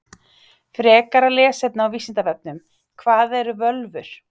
Frekara lesefni á Vísindavefnum: Hvað eru völvur?